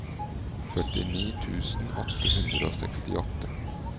førtini tusen åtte hundre og sekstiåtte